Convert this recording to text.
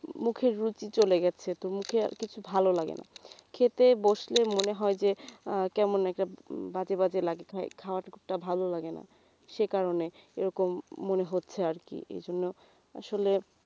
মুখের রুচি চলে গেছে মুখে আর কিছু ভালো লাগেনা খেতে বসলে মনে হয় যে আহ কেমন একটা উম বাজে বাজে লাগে খাবারটা ভালো লাগেনা যেকারণে এরকম মনে হচ্ছে আরকি এই জন্যে আসলে